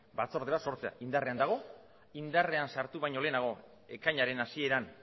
batzorde bat sortzea indarrean dago indarrean sartu baino lehenago ekainaren hasieran